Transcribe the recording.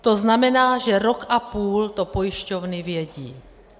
To znamená, že rok a půl to pojišťovny vědí.